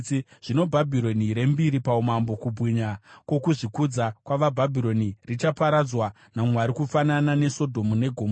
Zvino Bhabhironi rembiri paumambo, kubwinya kwokuzvikudza kwavaBhabhironi, richaparadzwa naMwari kufanana neSodhomu neGomora.